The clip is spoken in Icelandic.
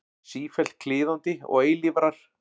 Sífellt kliðandi og eilífrar.